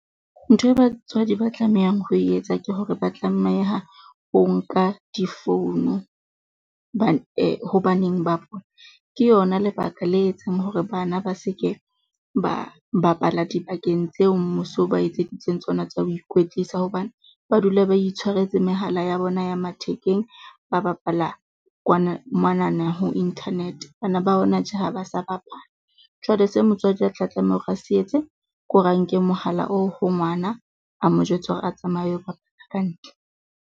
Ntho e batswadi ba tlamehang ho e etsa ke hore ba tlameha ho nka difounu, ho baneng ba bona. Ke yona lebaka le etsang hore bana ba se ke ba bapala dibakeng tseo mmuso o ba etseditseng tsona tsa ho ikwetlisa hobane ba dula ba itshwaretse mehala ya bona ya mathekeng, ba bapala kwana monana ho internet bana ba hona tje ha ba sa bapala. Jwale se motswadi a tla tlameha hore a se etse ke hore a nke mohala oo ho ngwana, a mo jwetse hore a tsamaye a lo bapala ka ntle.